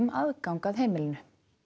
aðgang að heimilinu